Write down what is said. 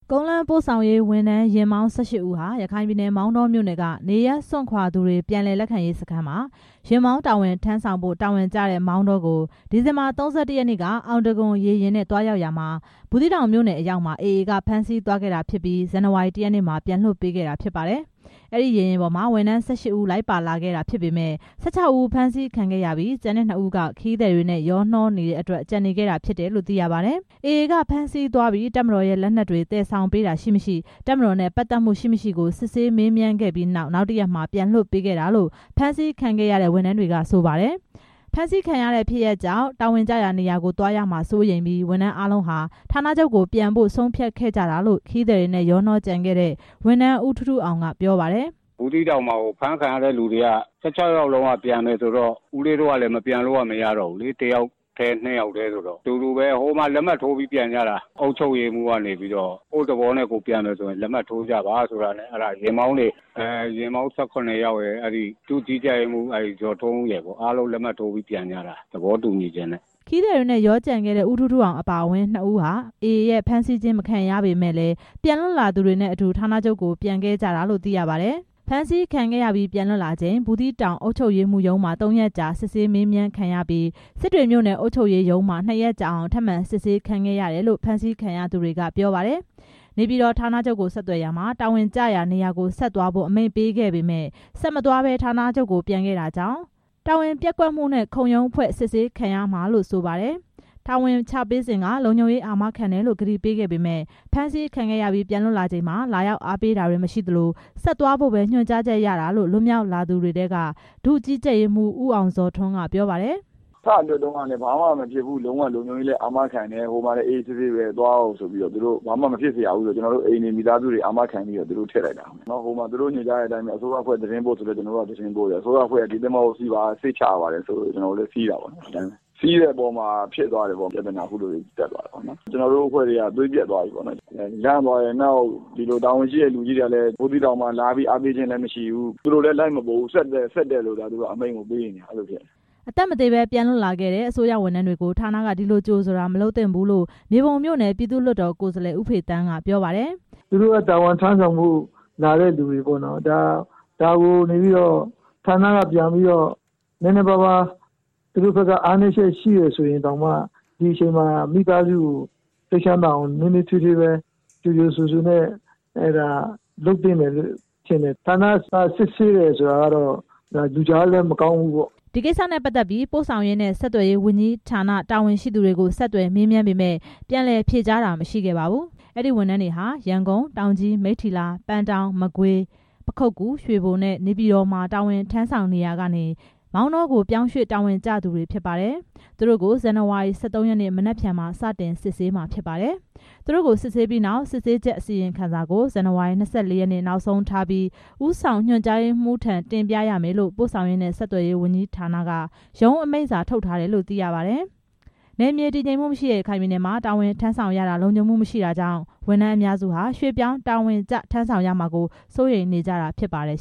ကုန်းလမ်းပို့ဆောင်ရေးဝန်ထမ်း ယာဉ်မောင်း ၁၈ ဦးဟာ ရခိုင်ပြည်နယ် မောင်တောမြို့နယ်က နေရပ်စွန့်ခွာ သူတွေ ပြန်လည်လက်ခံရေးစခန်းမှာ ယာဉ်မောင်းတာဝန်ထမ်းဆောင်ဖို့ တာဝန်ကျတဲ့ မောင်တောကို ဒီဇင်ဘာ ၃၁ ရက်နေ့က အောင်တံခွန်ရေယာဉ်နဲ့ သွားရောက်ရာမှာ ဘူးသီးတောင်မြို့နယ်အရောက်မှာ AA က ဖမ်းဆီး သွားခဲ့တာဖြစ်ပြီး ဇန်နဝါရီ ၁ ရက်နေ့မှာ ပြန်လွှတ်ပေးခဲ့တာဖြစ်ပါတယ်။ အဲဒီရေယာဉ်ပေါ်မှာ ဝန်ထမ်း ၁၈ ဦး လိုက်ပါခဲ့တာဖြစ်ပေမယ့် ၁၆ ဦးဖမ်းဆီးခံခဲ့ရပြီး ကျန်တဲ့ နှစ်ဦးက ခရီးသည်တွေနဲ့ရောနေတဲ့အတွက် ကျန်နေခဲ့တာဖြစ်တယ်လို့ သိရပါတယ်။ AA က ဖမ်းဆီးသွားပြီး တပ်မတော်ရဲ့ လက်နက်တွေ သယ်ဆောင်ပေးတာရှိ၊ မရှိ၊ တပ်မတော်နဲ့ ပတ်သက်မှု ရှိ၊ မရှိကို စစ်ဆေးမေးမြန်းခဲ့ပြီးနောက် နောက်တစ်ရက်မှာ ပြန်လွှတ်ပေးခဲ့တာလို့ ဖမ်းဆီးခံရတဲ့ ဝန်ထမ်းတွေက ဆိုပါတယ်။ ဖမ်းဆီးခံရတဲ့ ဖြစ်ရပ်ကြောင့် တာဝန်ကျရာနေရာကို သွားရမှာစိုးရိမ်ပြီး ဝန်ထမ်းအားလုံးဟာ ဌာနချုပ်ကိုပြန်ဖို့ ဆုံးဖြတ်ခဲ့ကြတာလို့ ခရီးသည်တွေနဲ့ ရောကျန်ခဲ့တဲ့ ဝန်ထမ်း ဦးထူးထူးအောင်က ပြောပါတယ်။ “ဘူးသီးတောင်မှာ ဖမ်းဆီးခံရတဲ့ ၁၆ ယောက်လုံးက ပြန်မယ်ဆိုတော့ တစ်ယောက်တည်း၊ နှစ်ယောက်တည်း မပြန်လို့ မရတော့ဘူး၊ ဟိုမှာ လက်မှတ်ထိုးပြီး ပြန်ရတာ၊ ဘူးသီးတောင် အုပ်ချုပ်ရေးမှူးက ကိုယ့်သဘောနဲ့ ကိုယ် ပြန်မယ်ဆိုရင် လက်မှတ်ထိုးပါဆိုလို့ ယာဉ်မောင်း ၁၇ ယောက်ရယ်၊ ဒုကြီးကြပ်ရေးမှူးရယ် အကုန်လုံးလက်မှတ် ထိုးပြီး ပြန်ကြတာ” ခရီးသည်တွေနဲ့ ရောကျန်ခဲ့တဲ့ ဦးထူးထူးအောင် အပါအဝင် နှစ်ဦးဟာ AA ရဲ့ ဖမ်းဆီးမခံရပေမယ့်လည်း ပြန်လွတ်လာသူတွေနဲ့အတူ ဌာနချုပ်ကို ပြန်ခဲ့ကြတာလို့ သိရပါတယ်။ ဖမ်းဆီးခံခဲ့ရပြီး ပြန်လွှတ်လာချိန် ဘူးသီးတောင် အုပ်ချုပ်ရေးမှူးရုံးမှာ သုံးရက်ကြာ စစ်ဆေးမေးမြန်းခံရပြီး စစ်တွေမြို့နယ် အုပ်ချုပ်ရေးမှူးရုံးမှာ နှစ်ရက်ကြာအောင် ထပ်မံစစ်ဆေးခံခဲ့ရတယ်လို့ ဖမ်းဆီးခံရသူတွေက ပြောပါတယ်။ တာဝန်ရှိတဲ့သူတွေ ဘူးသီးတောင်မှာ လာအားပေးတာလဲမရှိဘူး နေပြည်တော် ဌာနချုပ်ကိုဆက်သွယ်ရာမှာ တာဝန်ကျရာ နေရာကို ဆက်သွားဖို့ အမိန့်ပေးခဲ့ပေမယ့် ဆက်မသွားဘဲ နေပြည်တော် ဌာနချုပ်ဆီ ပြန်ခဲ့တာကြောင့် တာဝန် ပျက်ကွက်မှုနဲ့ ခုံရုံးဖွဲ့ စုံစမ်းစစ်ဆေးခံရမှာလို့ ဆိုပါတယ်။ တာဝန်ချပေးစဉ်က လုံခြုံရေးအာမခံတယ်လို့ ကတိပေးခဲ့ပေမယ့် ဖမ်းဆီးခံခဲ့ရပြီး ပြန်လွှတ်လာချိန်မှာ လာရောက်အားပေးတာ မရှိသလို ဆက်သွားဖို့ပဲ ညွှန်ကြားချက်ရတာလို့ လွတ်မြောက်လာသူတွေထဲက ဒုကြီးကြပ်ရေးမှူး ဦးအောင်ဇော်ထွန်းက ပြောပါတယ်။ “စလွှတ်တုန်းက ဟိုမှာလည်း ဘာမှမဖြစ်ဘူး၊ အာမခံတယ်ဆိုပြီး ကျွန်တော်တို့ မိသားစုတွေကို အာမခံပြီး လွှတ်တာ။ သူတို့ခိုင်းတဲ့အတိုင်းပဲ ဟိုမှာ အစိုးရအဖွဲ့ သတင်းပို့ဆိုတော့ သတင်းပို့တယ်၊ အစိုးရအဖွဲ့က ဒီသင်္ဘောကိုစီးပါ စိတ်ချရပါတယ်ဆိုလို့ ကျွန်တော်တို့စီးတယ် ဒါပေမဲ့ အခုလိုဖြစ်သွားတယ်ပေါ့။ ကျွန်တော်တို့ အဖွဲ့တွေ သွေးပျက်သွားတယ်ပေါ့။ တာဝန်ရှိတဲ့သူတွေက ဘူးသီးတောင်မှာ လာအားပေးတာလဲမရှိဘူး၊ သူတို့လည်း မလာဘူး၊ ဆက်တက်ဆက်တက်လို့သာ အမိန့်ပေးတာပဲရှိတယ်” အသက်မသေဘဲ ပြန်လွတ်လာခဲ့တဲ့ အစိုးရဝန်ထမ်းတွေကို ဌာနက ဒီလိုကြိုဆိုတာ မလုပ်သင့်ဘူးလို့ မြေပုံမြို့နယ် ပြည်သူ့လွှတ်တော် ကိုယ်စားလှယ် ဦးဖေသန်းက ပြောပါတယ်။ “သူတို့က တာဝန်ထမ်းဆောင်ဖို့ လာတဲ့သူတွေ။ ဒါကို ဌာနက ပြန်ပြီးတော့ နည်းနည်းပါးပါး သူတို့ဘက်က အားနည်းချက် ရှိရင်တောင် ဒီချိန်မှာ မိသားစုကို စိတ်ချမ်းသာအောင် နွေးနွေးထွေးထွေးလုပ်သင့်တယ်လို့ထင်တယ်၊ ဌာနက စစ်ဆေးတယ်ဆိုတာ လူကြားလို့လည်း မကောင်းဘူးပေါ့” အဲဒီကိစ္စအပေါ် ပို့ဆောင်ရေးနှင့် ဆက်သွယ်ရေးဝန်ကြီးဌာနက တာဝန်ရှိသူတွေထံ ဆက်သွယ်မေးမြန်းခဲ့ပေမယ့် ပြန်လည်ဖြေကြားတာ မရှိခဲ့ပါဘူး။ အဲဒီဝန်ထမ်းတွေဟာ ရန်ကုန်၊ တောင်ကြီး၊ မိထ္တီလာ၊ ပန်းတောင်း၊ မကွေး၊ ပခုက္ကူ၊ ရွှေဘိုနဲ့ နေပြည်တော်မှာ တာဝန်ထမ်းဆောင်နေရာကနေ မောင်တောကို ရွှေ့ပြောင်းတာဝန်ကျသူတွေ ဖြစ်ပါတယ်။ သူတို့တွေကို ဇန်နဝါရီ ၁၃ ရက်နေ့ မနက်ဖြန်မှာ စတင်စစ်ဆေးမှာဖြစ်ပါတယ်။ သူတို့ကို စစ်ဆေးပြီးနောက် စစ်ဆေးချက်အစီရင်ခံစာကို ဇန်နဝါရီလ ၂၄ ရက်နေ့ နောက်ဆုံးထားပြီး ဦးဆောင် ညွှန်ကြားရေးမှူးထံ တင်ပြရမယ်လို့ ပို့ဆောင်ရေးနှင့် ဆက်သွယ်ရေးဝန်ကြီးဌာနက ရုံးအမိန့်စာထုတ်ထား တယ်လို့ သိရပါတယ်။ နယ်မြေတည်ငြိမ်မှုမရှိတဲ့ ရခိုင်ပြည်နယ်မှာ တာဝန်ထမ်းဆောင်ရတာ လုံခြုံမှုမရှိတာကြောင့် ဝန်ထမ်းအများစု ဟာ ရွှေ့ပြောင်းတာဝန်ကျ ထမ်းဆောင်ရမှာကို စိုးရိမ်နေကြတာ ဖြစ်ပါတယ်